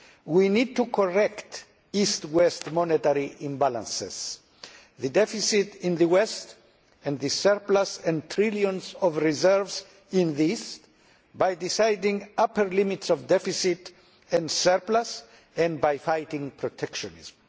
We need to correct East West monetary imbalances the deficit in the West and the surplus and trillions of reserves in the East by deciding on upper limits of deficit and surplus and by fighting protectionism.